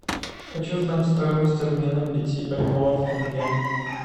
хочу знать стоимость обмена пяти бальбоа в тенге